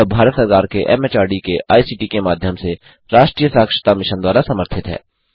यह भारत सरकार के एमएचआरडी के आईसीटी के माध्यम से राष्ट्रीय साक्षरता मिशन द्वारा समर्थित है